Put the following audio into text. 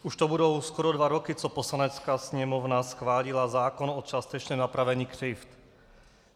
Už to budou skoro dva roky, co Poslanecká sněmovna schválila zákon o částečném napravení křivd.